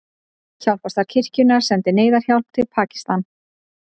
Hjálparstarf kirkjunnar sendir neyðarhjálp til Pakistan